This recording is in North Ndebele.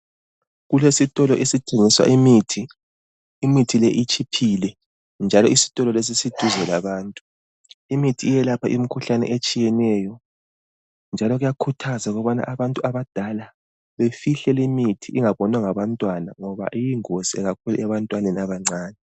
Kulesitolo esithengisa imithi, imithi leyi itshiphile njalo isitolo lesi siduze labantu, imithi iyelapha imikhuhlane etshiyeneyo njalo kuyakhuthazwa ukubana abantu abadala befihle le mithi ingabonwa ngabantwana, ngoba iyingozi kakhulu ebantwaneni abancane.